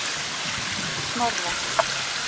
Snorra